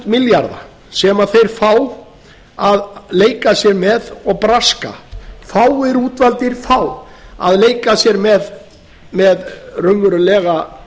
milljarða sem þeir fá að leika sér með og braska fáir útvaldir fá að leika sér með raunverulega